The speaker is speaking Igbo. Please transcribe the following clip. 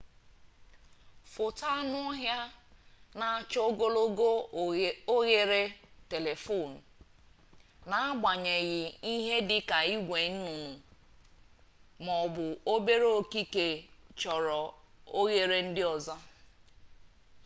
foto anụ ọhịa na-achọ ogologo oghere telephoto n'agbanyeghi ihe dika igwe nnụnụ maọbụ obere okike choro oghere ndi ozo